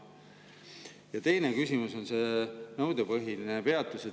Ja teine küsimus on see nõudepõhine peatus.